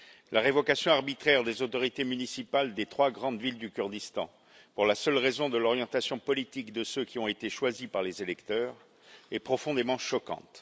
La révocation arbitraire des autorités municipales des trois grandes villes du Kurdistan, pour la seule raison de l'orientation politique de ceux qui ont été choisis par les électeurs, est profondément choquante.